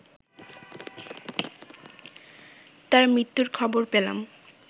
তার মৃত্যুর খবর পেলাম